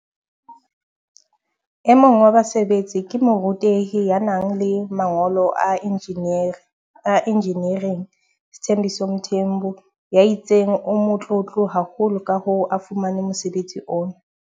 E mong wa basebetsi ke morutehi ya nang le mangolo a injiniering Sthembiso Mthembu ya itseng o motlotlo haholo ka ho fumana mosebetsi ona.